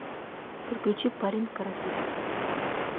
подключи парень каратист